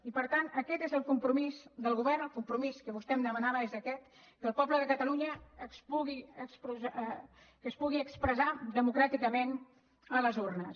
i per tant aquest és el compromís del govern el compromís que vostè em demanava és aquest que el poble de catalunya es pugui expressar democràticament a les urnes